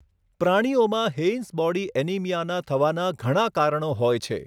પ્રાણીઓમાં, Heinz body એનિમિયાનાં થવાના ઘણા કારણો હોય છે.